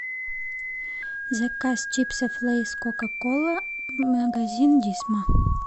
заказ чипсов лэйс кока кола магазин дисма